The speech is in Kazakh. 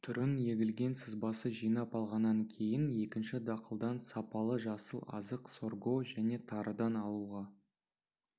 түрін егілген сызбасы жинап алғаннан кейін екінші дақылдан сапалы жасыл азық сорго және тарыдан алуға